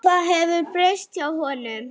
Hvað hefur breyst hjá honum?